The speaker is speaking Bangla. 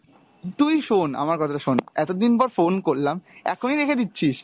তুই শোন আমার কথা শোন, এতদিন পর phone করলাম, এখনই রেখে দিচ্ছিস?